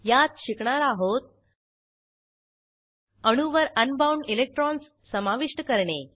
यात शिकणार आहोत अणूवर अनबाउंड इलेक्ट्रॉन्स समाविष्ट करणे